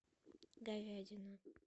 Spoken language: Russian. говядина